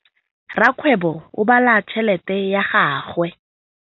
Rakgwêbô o bala tšheletê ya gagwe.